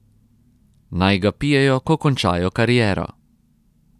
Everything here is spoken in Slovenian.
Naj ga pijejo, ko končajo kariero.